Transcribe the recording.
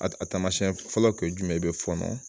A taamasiyɛn fɔlɔ kun ye jumɛn ye i be fɔɔnɔ